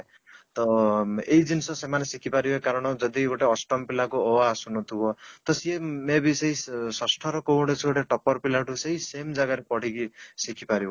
ତ ଏଇ ଜିନିଷ ସେମାନେ ଶିଖି ପାରିବେ କାରଣ ଯଦି ଗୋଟେ ଅଷ୍ଟମ ପିଲା କୁ ଅ ଆ ଆସୁନଥିବ ତ ସିଏ may be ଷଷ୍ଠ ର କୌଣସି ଗୋଟେ topper ପିଲା ଠୁ ସି same ଜାଗା ରେ ପଢିକି ଶିଖିପାରିବ